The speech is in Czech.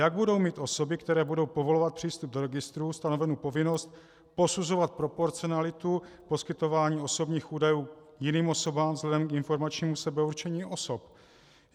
Jak budou mít osoby, které budou povolovat přístup do registrů, stanovenu povinnost posuzovat proporcionalitu poskytování osobních údajů jiným osobám vzhledem i informačnímu sebeurčení osob?